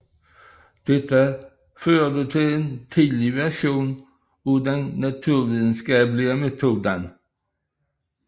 Dette ledte til en tidlig version af den naturvidenskabelige metode